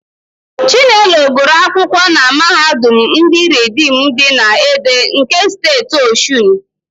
Chinelo gụrụ akwụkwọ na Mahadum ndị Ridiim dị na Ede nke Steeti Ọshụn.